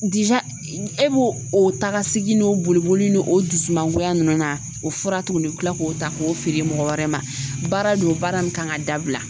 e b'o o taakasegin n'o bolo n'o o dusumangoya nunnu na o fura t'u bolo tila k'o ta k'o feere mɔgɔ wɛrɛ ma baara don baara min kan ka dabila